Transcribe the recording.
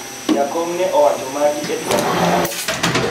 jakom ne owacho magi e twak mare